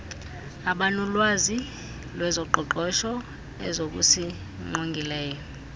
abanolwazi lwezoqoqosho ezokusingqongileyo